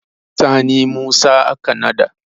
Sani Musa aka nada.